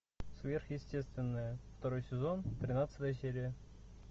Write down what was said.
сверхъестественное второй сезон тринадцатая серия